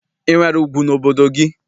I nwere ugwu n'obodo gị?